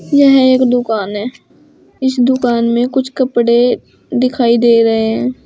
यह एक दुकान है इस दुकान में कुछ कपड़े दिखाई दे रहे हैं।